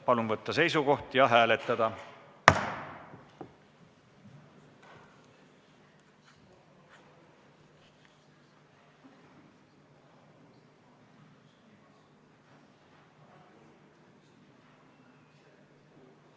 Palun võtta seisukoht ja hääletada!